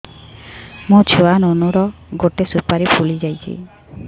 ମୋ ଛୁଆ ନୁନୁ ର ଗଟେ ସୁପାରୀ ଫୁଲି ଯାଇଛି